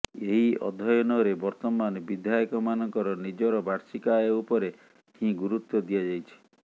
ଏହି ଅଧ୍ୟୟନରେ ବର୍ତ୍ତମାନ ବିଧାୟକମାନଙ୍କର ନିଜର ବାର୍ଷିକ ଆୟ ଉପରେ ହିଁ ଗୁରୁତ୍ୱ ଦିଆଯାଇଛି